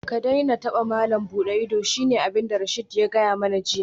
Ka daina taba malam buɗe ido shine abinda Rasheed ya gaya mani jiya